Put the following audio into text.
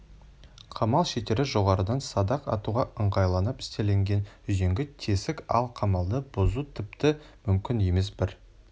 қамал шеттері жоғарыдан садақ атуға ыңғайланып істелген үзеңгі тесік ал қамалды бұзу тіпті мүмкін емес бір